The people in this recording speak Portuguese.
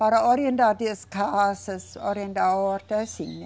Para orientar as casas, orientar a horta, assim, né?